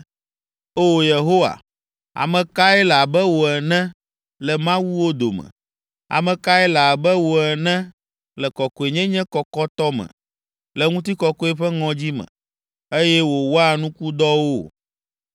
“O, Yehowa, ame kae le abe wò ene le mawuwo dome? Ame kae le abe wò ene le kɔkɔenyenye kɔkɔtɔ me, le ŋutikɔkɔe ƒe ŋɔdzi me, eye wòwɔa nukudɔwo?